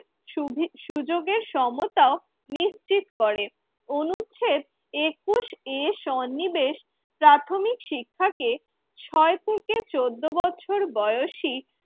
সুবি সুযোগে সমতা নিশ্চিত করে। অনুচ্ছেদ একুশ এ সন্নিবেশ প্রাথমিক শিক্ষাকে ছয় থেকে চোদ্দ বছর বয়সী